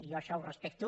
jo això ho respecto